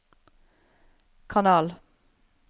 kanal